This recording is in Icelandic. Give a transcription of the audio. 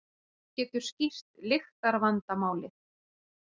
Það getur skýrt lyktarvandamálið.